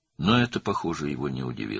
Amma bu, görünür, onu təəccübləndirmədi.